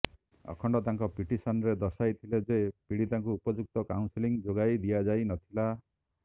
ଅଖଣ୍ଡ ତାଙ୍କ ପିଟିସନରେ ଦର୍ଶାଇଥିଲେ ଯେ ପୀଡିତାଙ୍କୁ ଉପଯୁକ୍ତ କାଉନସିଲିଂ ଯୋଗାଇ ଦିଆଯାଇ ନଥିଲା